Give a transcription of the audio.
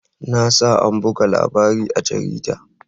Na sa an buga labarin a jarida.